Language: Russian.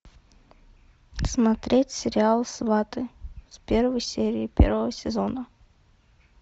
смотреть сериал сваты с первой серии первого сезона